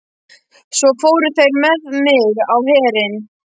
Svo fóru þeir með mig á Herinn.